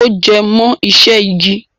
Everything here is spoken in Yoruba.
Ó jẹ mọ iṣẹ́ igi.